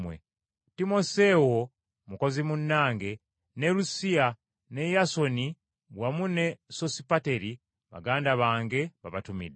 Timoseewo mukozi munnange, ne Lukiyo ne Yasooni wamu ne Sosipateri, baganda bange, babatumidde.